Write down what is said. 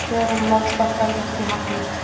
Kröfum Landsbankans var því hafnað